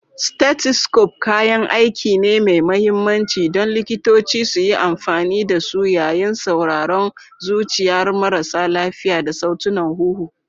Stethoscope kayan aiki ne mai mahimmanci don likitoci suyi amfani da su yayin sauraron zuciyar marasa lafiya da sautunan huhu.